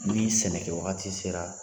Ni sɛnɛ kɛ wagati sera